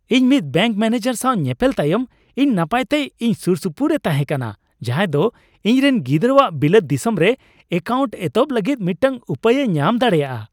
ᱤᱧ ᱢᱤᱫ bank manager ᱥᱟᱶ ᱧᱮᱯᱮᱞ ᱛᱟᱭᱚᱢ ᱤᱧ ᱱᱟᱯᱟᱭᱛᱮ ᱤᱧ ᱥᱩᱨᱥᱩᱯᱩᱨ ᱮ ᱛᱟᱦᱮᱸ ᱠᱟᱱᱟ, ᱡᱟᱦᱟᱸᱭ ᱫᱚ ᱤᱧᱨᱮᱱ ᱜᱤᱫᱽᱨᱟᱹᱣᱟᱜ ᱵᱤᱞᱟᱹᱛ ᱫᱤᱥᱚᱢ ᱨᱮ ᱮᱠᱟᱣᱱᱴ ᱮᱦᱚᱵ ᱞᱟᱹᱜᱤᱫ ᱢᱤᱫᱴᱟᱝ ᱩᱯᱟᱹᱭ ᱮ ᱧᱟᱢ ᱫᱟᱲᱮᱭᱟᱜᱼᱟ ᱾